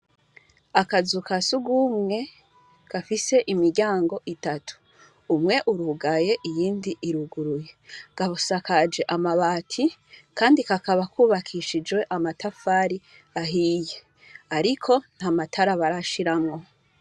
Akazu ka sugumwe gafise imiryango itatu ,umwe irugaye iyindi iruguruye, gasakajwe amabati kandi kakaba kubakishijwee amatafari ahiye, ariko ntamatara barashiramwo.